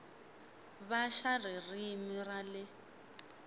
va xa ririmi ra le